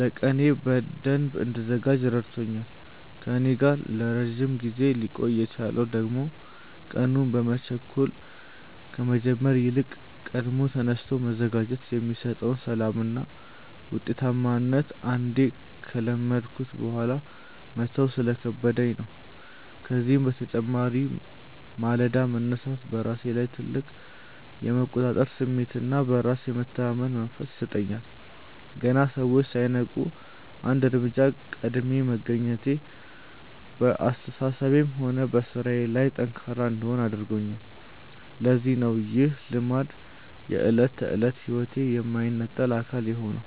ለቀኔ በደንብ እንድዘጋጅ ረድቶኛል። ከእኔ ጋር ለረጅም ጊዜ ሊቆይ የቻለው ደግሞ ቀኑን በመቸኮል ከመጀመር ይልቅ ቀድሞ ተነስቶ መዘጋጀት የሚሰጠውን ሰላምና ውጤታማነት አንዴ ከለመድኩት በኋላ መተው ስለከበደኝ ነው። ከዚህም በተጨማሪ ማለዳ መነሳት በራሴ ላይ ትልቅ የመቆጣጠር ስሜትና በራስ የመተማመን መንፈስ ይሰጠኛል። ገና ሰዎች ሳይነቁ አንድ እርምጃ ቀድሜ መገኘቴ በአስተሳሰቤም ሆነ በሥራዬ ላይ ጠንካራ እንድሆን አድርጎኛል፤ ለዚህም ነው ይህ ልማድ የዕለት ተዕለት ሕይወቴ የማይነጠል አካል የሆነው።